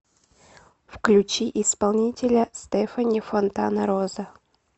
включи исполнителя стефани фонтанароза